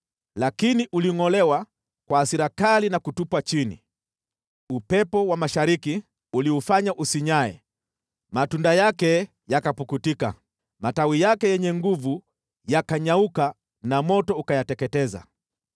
Lakini ulingʼolewa kwa hasira kali na kutupwa chini. Upepo wa mashariki uliufanya usinyae, matunda yake yakapukutika, matawi yake yenye nguvu yakanyauka na moto ukayateketeza.